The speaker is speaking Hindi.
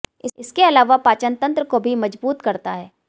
इसके अलावा पाचन तंत्र को भी मजबूत करता है